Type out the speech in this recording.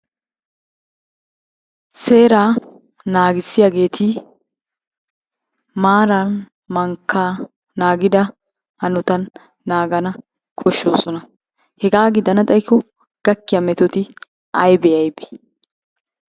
Seeraa naagissiyageeti maaran mankkaa naagida hanotan naagana koshshosona. Hegaa gidana xayikko gakkiya metoti aybe aybe?